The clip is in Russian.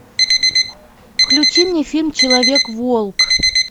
включи мне фильм человек волк